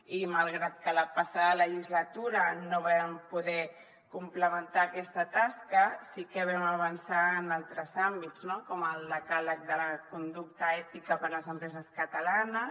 i malgrat que la passada legislatura no vam poder complementar aquesta tasca sí que vam avançar en altres àmbits com el decàleg de la conducta ètica per a les empreses catalanes